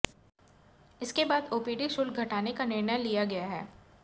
इसके बाद अाेपीडी शुल्क घटाने का निर्णय लिया गया है